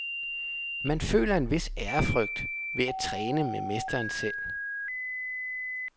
Man føler en vis ærefrygt ved at træne med mesteren selv.